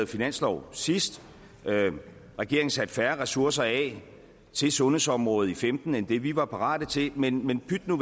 finanslov sidst regeringen satte færre ressourcer af til sundhedsområdet i femten end det vi var parate til men men pyt nu